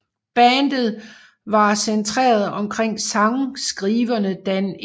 Bandets var centreret omkring sangskriverne Dan E